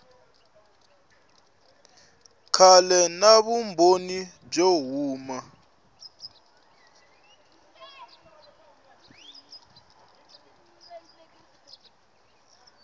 kahle na vumbhoni byo huma